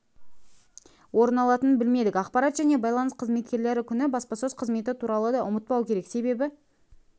орын алатынын білмедік ақпарат және байланыс қызметкерлері күні баспасөз қызметі туралы да ұмытпау керек себебі